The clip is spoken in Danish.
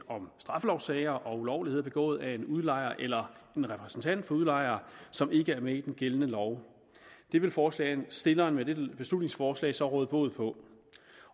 om straffelovssager og ulovligheder begået af en udlejer eller en repræsentant for udlejer som ikke er med i den gældende lov det vil forslagsstillerne med dette beslutningsforslag så råde bod på